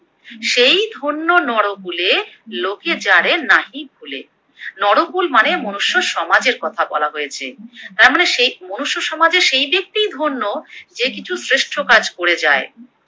সেই ধন্য নরকুলে লোকে যারে নাহি ভুলে, নরকুল মানে মনুষ্য সমাজের কথা বলা হয়েছে, তার মানে সেই মনুষ্য সমাজে সেই ব্যক্তিই ধন্য যে কিছু শ্রেষ্ঠ কাজ করে যায়।